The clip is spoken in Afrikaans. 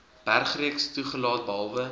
bergreeks toegelaat behalwe